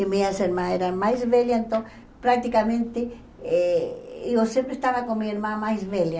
E minhas irmãs eram mais velhas, então, praticamente, eh eu sempre estava com minha irmã mais velha.